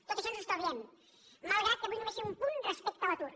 tot això ens ho estalviem malgrat que vull només fer un punt respecte a l’atur